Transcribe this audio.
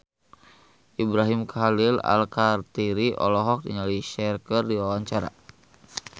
Ibrahim Khalil Alkatiri olohok ningali Cher keur diwawancara